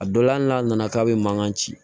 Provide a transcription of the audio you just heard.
A dɔ la hali n'a nana k'a bɛ mankan ci